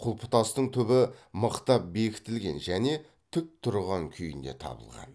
құлпытастың түбі мықтап бекітілген және тік тұрған күйінде табылған